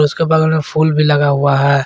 उसके बगल में फुल भी लगा हुआ है।